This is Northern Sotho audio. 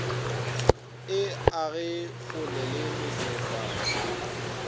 e age kgole le mefefa